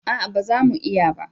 A'a ba za mu iya ba